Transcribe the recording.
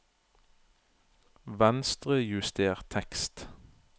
Venstrejuster tekst